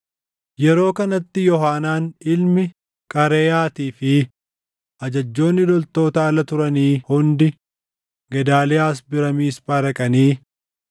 Yeroo kanatti Yoohaanaan ilmi Qaareyaatii fi ajajjoonni loltoota ala turanii hundi Gedaaliyaas bira Miisphaa dhaqanii,